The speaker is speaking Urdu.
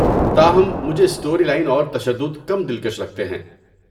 تاہم، مجھے اسٹوری لائن اور تشدد کم دلکش لگتے ہیں۔